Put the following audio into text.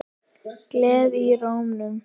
Gleði í rómnum.